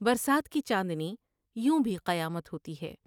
برسات کی چاندنی یوں بھی قیامت ہوتی ہے ۔